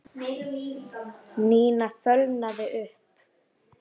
Nína fölnaði upp.